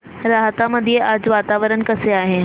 राहता मध्ये आज वातावरण कसे आहे